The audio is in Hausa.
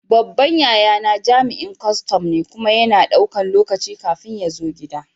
Babban yayana jami'in kustum ne, kuma yana ɗaukan lokaci kafin ya zo gida.